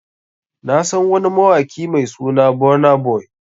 Na San wani mawaki Mai suna Burna Boy.